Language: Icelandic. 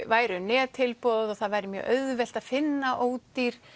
væru nettilboð og það væri auðvelt að finna ódýr